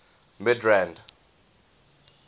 midrand